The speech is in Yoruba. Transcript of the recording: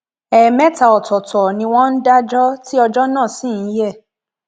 ẹẹmẹta ọtọọtọ ni wọn ń dájọ tí ọjọ náà sì ń yẹ